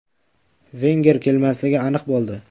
Venger kelmasligi aniq bo‘ldi.